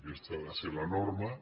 aquesta ha de ser la norma